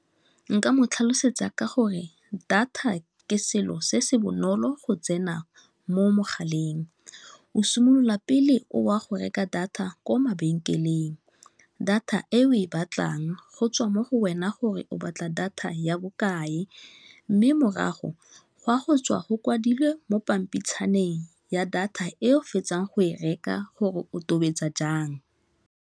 Nka mo tlhalosetsa ka gore data ke selo se se bonolo go tsena mo mogaleng o simolola pele o a go reka data ko mabenkeleng data eo tlang go tswa mo go wena gore o batla data ya bokae mme morago ga go tswa go kwadilwe mo pampitshana teng ya data e o fetsang go e reka gore o tobetsa jang.